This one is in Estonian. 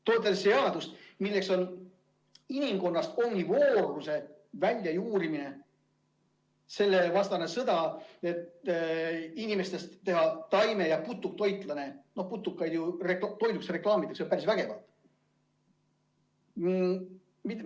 Toimub inimkonnast omnivoorluse väljajuurimine, selle vastane sõda, et teha inimestest taime- ja putuktoitlased – putukaid ju reklaamitakse päris vägevalt.